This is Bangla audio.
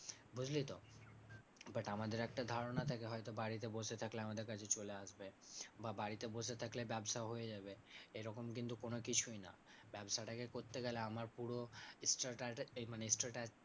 বুঝলি তো? but আমাদের একটা ধারণা থাকে হয়তো বাড়িতে বসে থাকলে আমাদের কাছে চলে আসবে বা বাড়িতে বসে থাকলে ব্যাবসা হয়ে যাবে এরকম কিন্তু কোনোকিছুই না, ব্যাবসাটাকে করতে গেলে আমার পুরো মানে